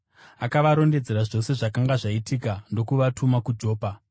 Akavarondedzera zvose zvakanga zvaitika ndokuvatuma kuJopa.